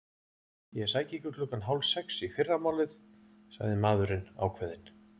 Ég sæki ykkur klukkan hálf sex í fyrramálið sagði maðurinn ákveðinn.